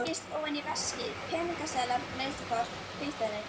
Fergin heitir öðru nafni tjarnelfting og er eins konar lækningajurt.